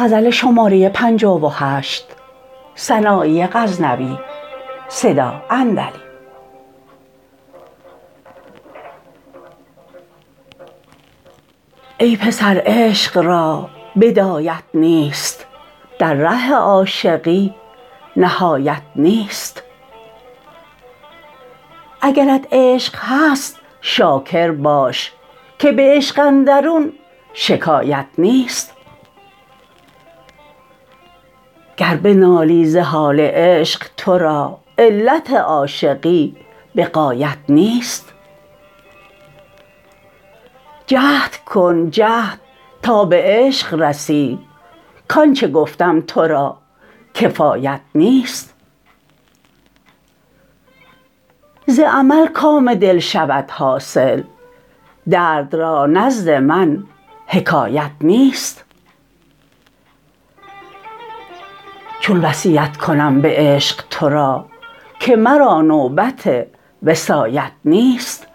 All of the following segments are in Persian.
ای پسر عشق را بدایت نیست در ره عاشقی نهایت نیست اگرت عشق هست شاکر باش که به عشق اندرون شکایت نیست گر بنالی ز حال عشق تو را علت عاشقی بغایت نیست جهد کن جهد تا به عشق رسی کانچه گفتم ترا کفایت نیست ز عمل کام دل شود حاصل درد را نزد من حکایت نیست چون وصیت کنم به عشق تو را که مرا نوبت وصایت نیست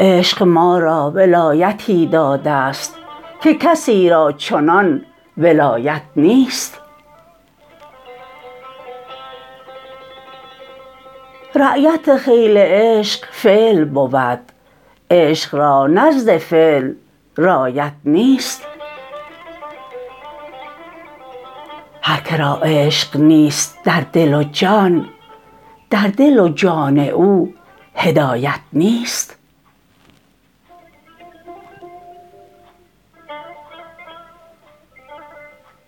عشق ما را ولایتی داده ست که کسی را چنان ولایت نیست رایت خیل عشق فعل بود عشق را نزد عقل رایت نیست هر کرا عشق نیست در دل و جان در دل و جان او هدایت نیست